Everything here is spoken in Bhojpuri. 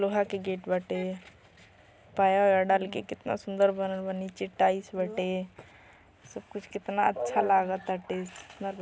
लोहा के गेट बाटे पाया ओया डाल के कितना सूंदर बनल बा। नीचे टाइल्स बाटे सब कुछ केतना अच्छा लागा ताटे --